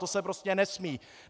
To se prostě nesmí!